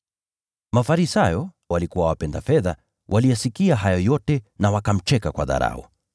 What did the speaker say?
Mafarisayo, waliokuwa wapenda fedha, waliyasikia hayo yote na wakamcheka kwa dharau.